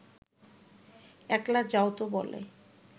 একলা যাওতো বলে